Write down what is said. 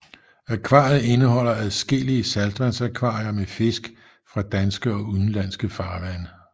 Akvariet indeholder adskillige saltvandsakvarier med fisk fra danske og udenlandske farvande